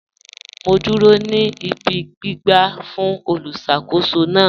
Mọ̀ n dúró ní ìbí gbìgbà fún olùṣakòsó náà